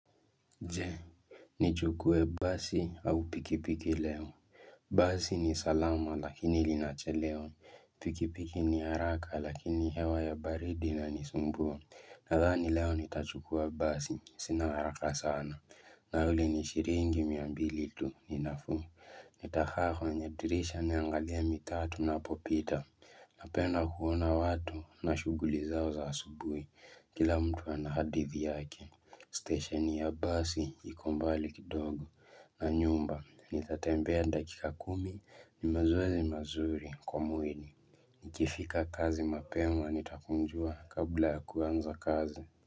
Je nijukue basi au pikipiki leo. Basi ni salama lakini linachelewa Pikipiki ni haraka lakini hewa ya baridi inanisumbua. Nadhani leo nitachukua basi. Sina haraka sana. Nauli ni shiringi miambilitu. Ninafu. Nitakaa kwenye dirisha niangalie mi taa tu na popita. Napenda kuona watu na shuguli zao za subui. Kila mtu anahadithi yake. Stesheni ya basi iko mbali kidogo na nyumba nitatembea dakika kumi ni mazoezi mazuri kwa mwili nikifika kazi mapema nitakunjua kabla kuanza kazi.